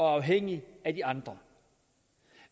afhængige af de andre